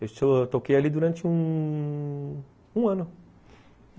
Eu toquei ali durante um... um ano.